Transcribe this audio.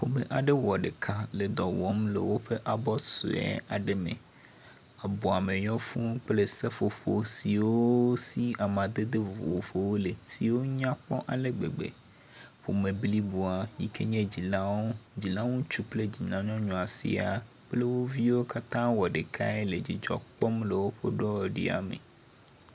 Ƒome aɖe wɔ ɖeka le dɔ wɔm le woƒe abɔ sue aɖe me. Abɔ me yɔ fuu kple seƒoƒo siwo si amadede vovowo le. Siwo nyakpɔ ale gbegbe. Ƒome bliboa yi ke dzilawo, dzila ŋutsu kple dzila nyɔnua sia kple wo viwo katã wɔ ɖekae le dzidzɔ kpɔm le woƒe ɖɔ ɖia me.